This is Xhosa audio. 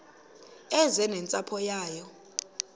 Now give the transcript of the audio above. eze nentsapho yayo